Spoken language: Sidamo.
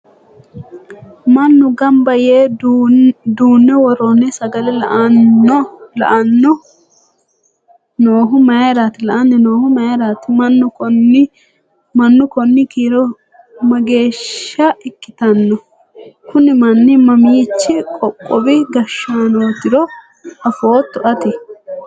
mannu gamba yee duunne worroonni sagale la'anno noohu mayiiraati? mannu konni kiiro mageeshsha ikkitanno? kuni manni mamiichi qoqowi gashshaanootiro afootto ati?